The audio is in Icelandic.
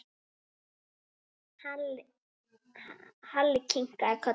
Halli kinkaði kolli.